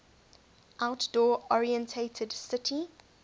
outdoor oriented city